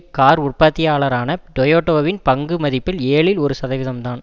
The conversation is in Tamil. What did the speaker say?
கார் உற்பத்தியாளரான டொயோடாவின் பங்கு மதிப்பில் ஏழுஇல் ஒரு சதவீதம்தான்